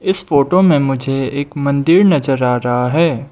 इस फोटो में मुझे एक मंदिर नजर आ रहा है।